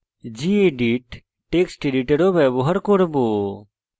gedit text editor ও ব্যবহার করব